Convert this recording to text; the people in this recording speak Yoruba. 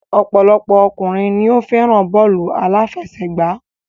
Ọ̀pọ̀lọpọ̀ ọkùnrin ni o fẹ́ràn bọ́ọ̀lù àláfẹsẹ̀gbá.